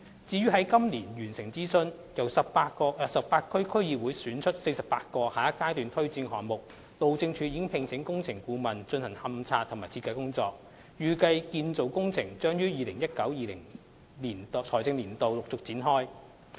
至於在今年9月完成諮詢，由18區區議會選出的48個下一階段推展項目，路政署已聘請工程顧問進行勘測及設計工作，預計建造工程將於 2019-2020 財政年度陸續展開。